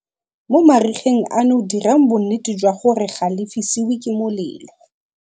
Mo marigeng ano dirang bonnete jwa gore ga le fisiwe ke molelo